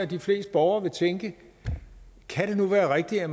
de fleste borgere vil tænke kan det nu være rigtigt og